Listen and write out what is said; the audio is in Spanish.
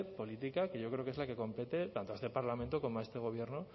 política que yo creo que es la que compete tanto a este parlamento como a este gobierno